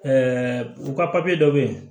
u ka papiye dɔ bɛ yen